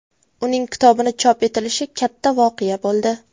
Uning kitobini chop etilishi katta voqea bo‘ldi.